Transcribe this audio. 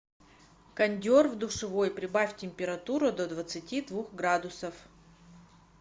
кондер в душевой прибавь температуру до двадцати двух градусов